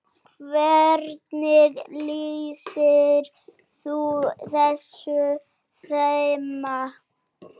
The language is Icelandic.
Hvernig lýsir þú þessu þema?